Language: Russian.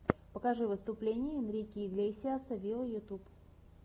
покажи выступление энрике иглесиаса виво ютюб